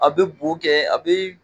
A bɛ bo kɛ a bɛ.